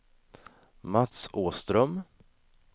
Mats Åström